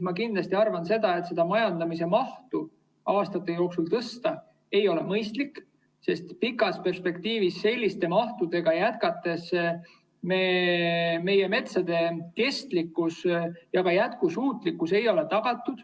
Ma kindlasti arvan, et seda majandamise mahtu aastate jooksul tõsta ei ole mõistlik, sest pikas perspektiivis selliste mahtudega jätkates ei ole meie metsa kestlikkus ja jätkusuutlikkus tagatud.